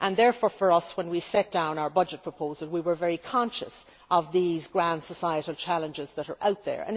Therefore, for us, when we set down our budget proposal, we were very conscious of these grand societal challenges that are out there.